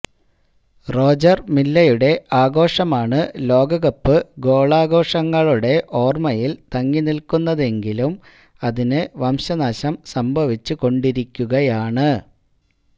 Roger മില്ലയുടെ ആഘോഷമാണ് ലോകകപ്പ് ഗോളാഘോഷങ്ങളുടെ ഓർമയിൽ തങ്ങിനിൽക്കുന്നതെങ്കിലും അതിന് വംശനാശം സംഭവിച്ചു കൊണ്ടിരിക്കുകയാണ്